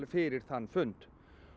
fyrir þann fund